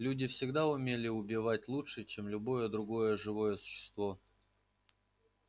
люди всегда умели убивать лучше чем любое другое живое существо